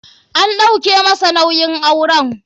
An ɗauke masa nauyin auren.